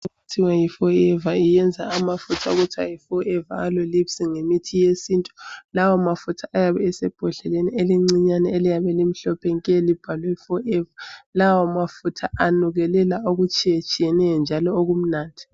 Ithiwa yiForever iyenza amafuta okuthiwa yi Forever aloe lips ngemithi yesintu. Lawa amafuta ayabe esembodleleni encinyane eliyabe limhlophe nke libhalwe Forever. Lawa amafuta anukelela okutshiyetshiyeneyo njalo okumnandi.